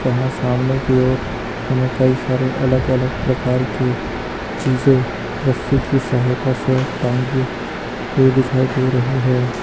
यहां सामने की ओर हमें कई सारे अलग अलग प्रकार के चीजें रस्सी की सहायता से टांगी हुई दिखाई दे रही है।